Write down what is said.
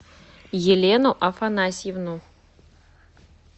елену афанасьевну